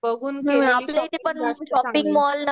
बघून